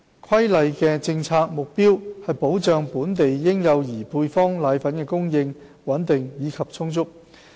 《規例》的政策目標是保障本地嬰幼兒配方粉的供應穩定及充足。